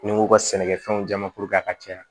Ni n ko ka sɛnɛkɛfɛnw ja ma a ka caya